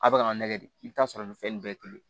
A bɛ ka n'a nɛgɛ de i bɛ t'a sɔrɔ nin fɛn nin bɛɛ ye kelen ye